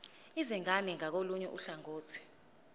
izingane ngakolunye uhlangothi